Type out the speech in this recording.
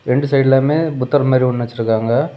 ரெண்டு சைட்லமே புத்தர் மாரி ஒன்னு வச்சிருக்காங்க.